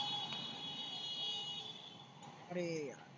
आरे यार.